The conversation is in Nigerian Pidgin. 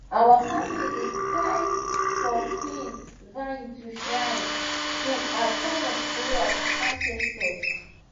our family dey tie pumpkin vine to shrine pole as sign of prayer to ancestors